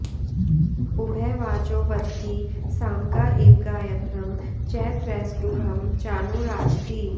उ॒भे वाचौ॑ वदति साम॒गा इ॑व गाय॒त्रं च॒ त्रैष्टु॑भं॒ चानु॑ राजति